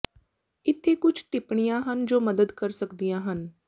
ਇੱਥੇ ਕੁਝ ਟਿੱਪਣੀਆਂ ਹਨ ਜੋ ਮਦਦ ਕਰ ਸਕਦੀਆਂ ਹਨ